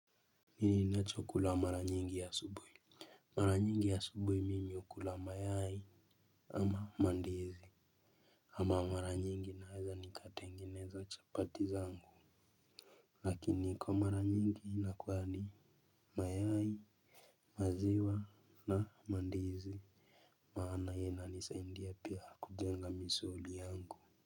Hii nachokula mara nyingi asubuhi. Mara nyingi asubuhi mimi hula mayai ama ndizi. Ama mara nyingi naweza nikatengeneza chapati zangu. Lakini kwa mara nyingi inakua ni mayai maziwa na ndizi. Maana inisaindia pia kujenga misuli yangu.